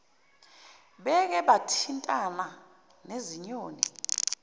beke bathintana nezinyoni